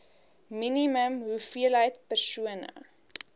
minimum hoeveelheid persone